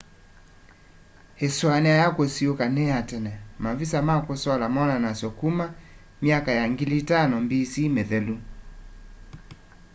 isuania ya kusiiuka ni ya tene-mavisa ma kusola monanasw'a kuma myaka ya 5000 bc mithelu